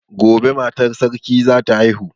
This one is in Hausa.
Gobe matar sarki zata haihu